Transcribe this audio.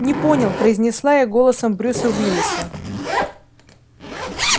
не понял произнесла я голосом брюса виллиса